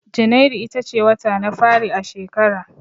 Janairu ita ce wata na fari a shekara